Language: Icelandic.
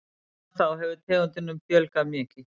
Síðan þá hefur tegundum fjölgað mikið.